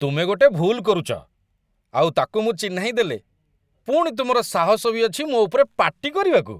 ତୁମେ ଗୋଟେ ଭୁଲ୍ କରୁଛ, ଆଉ ତା'କୁ ମୁଁ ଚିହ୍ନାଇ ଦେଲେ ପୁଣି ତୁମର ସାହସ ବି ଅଛି ମୋ ଉପରେ ପାଟି କରିବାକୁ!